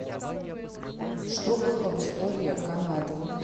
что было в история канады